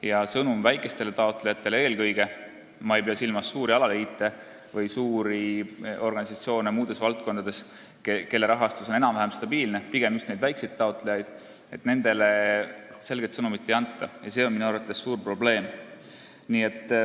Ja sõnumit väikestele taotlejatele eelkõige – ma ei pea silmas suuri alaliite või suuri organisatsioone muudes valdkondades, kelle rahastus on enam-vähem stabiilne, pigem just väikseid taotlejaid – ei anta ja see on minu arvates suur probleem.